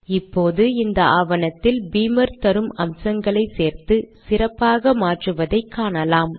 இப்போது இந்த ஆவணத்தில் பீமர் தரும் அம்சங்களை சேர்த்து சிறப்பாக மாற்றுவதை காணலாம்